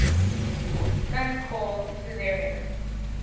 son called caesarion